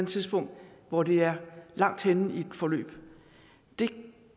tidspunkt hvor det er langt henne i et forløb det